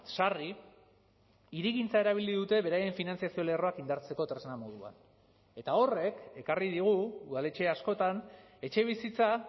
sarri hirigintza erabili dute beraien finantzazio lerroak indartzeko tresna moduan eta horrek ekarri digu udaletxe askotan etxebizitza